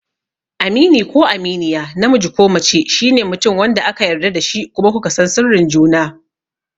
Amini ko Aminiya, namiji ko mace, shine mutum wanda aka yarda da shi kuma ku ka san sirrin juna.